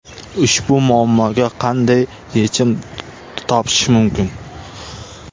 Ushbu muammoga qanday yechim topish mumkin?.